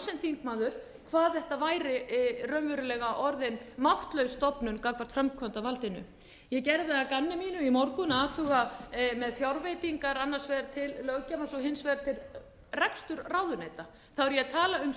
þingmaður hvað þetta væri raunverulega orðin máttlaus stofnun gagnvart framkvæmdarvaldinu ég gerði það að gamni mínu í morgun að athuga með fjárveitingar annars vegar til löggjafans og hins vegar til reksturs ráðuneyta þá er ég að tala um